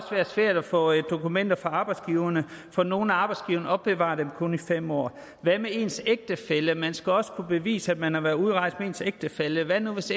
være svært at få dokumenter fra arbejdsgiverne for nogle af arbejdsgiverne opbevarer dem kun i fem år hvad med ens ægtefælle man skal også kunne bevise at man har været udrejst med ens ægtefælle hvad nu hvis